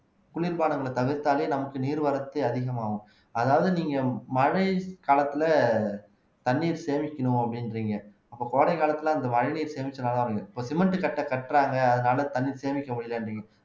குளிர் பானங்களை தவிர்த்தாலே நமக்கு நீர்வரத்து அதிகமாகும் அதாவது நீங்க மழைக்காலத்துல தண்ணீர் சேமிக்கணும் அப்படின்றீங்க அப்ப கோடை காலத்துல அந்த மழைநீர் சேமிச்சுதான் இருக்கு இப்ப சிமெண்ட் கட்டை கட்டுறாங்க அதனால தண்ணி சேமிக்க முடியலன்றீங்க